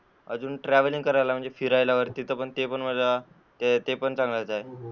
अजून ट्रॅव्हलिंग करायला, फिरायला ते पण माझ्या, ते पण चांगलंच आहे.